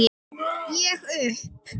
Ég upp